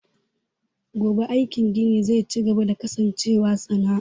HHat ggone aikin gini ze cigaba da kasancewa sana'a.